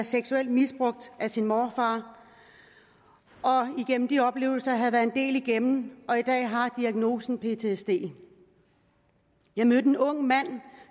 seksuelt misbrugt af sin morfar og igennem de oplevelser havde været en del igennem og i dag har diagnosen ptsd jeg mødte en ung mand